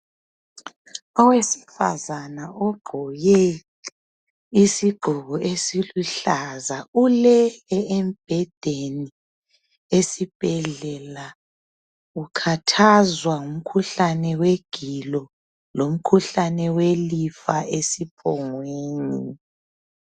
Owesifazana ogqoke isigqoko esiluhla ulele embedeni esibhedlela Ukhathazwa ngumkhuhlane wegilo lomkhuhlane welifa esiphongweni